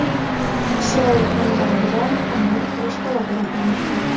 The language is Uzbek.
Isroil hamda Livan hamon urush holatida qolmoqda.